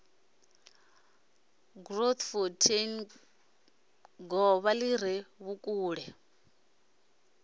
grootfonteindrift govha li re vhukule